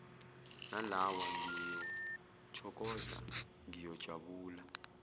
nalawa ngiyothokoza ngiyojabula